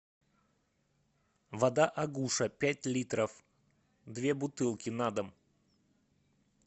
вода агуша пять литров две бутылки на дом